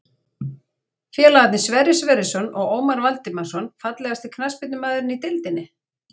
Félagarnir Sverrir Sverrisson og Ómar Valdimarsson Fallegasti knattspyrnumaðurinn í deildinni?